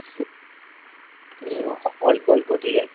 হম অল্প অল্প ঠিক আছে